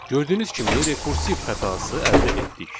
Gördüyünüz kimi rekursiv xətası əldə etdik.